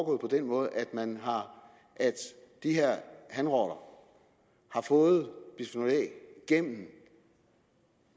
den måde at de her hanrotter har fået bisfenol a gennem